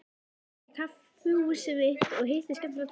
Ég fór á kaffihúsið mitt og hitti skemmtilegt fólk.